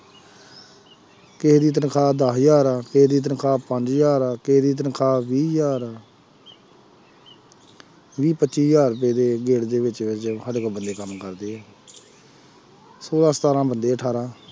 ਕਿਸੇ ਦੀ ਤਨਖਾਹ ਦਸ ਹਜ਼ਾਰ ਆ, ਕਿਸੇ ਦੀ ਤਨਖਾਹ ਪੰਜ ਹਜ਼ਾਰ ਆ, ਕਿਸੇ ਦੀ ਤਨਖਾਹ ਵੀਹ ਹਜ਼ਾਰ ਵੀਹ ਪੱਚੀ ਹਜ਼ਾਰ ਗੇੜ ਦੇ ਸਾਡੇ ਕੋਲ ਬੰਦੇ ਕੰਮ ਕਰਦੇ ਹੈ ਛੋਲਾਂ ਸਤਾਰਾਂ ਬੰਦੇ ਅਠਾਰਾਂ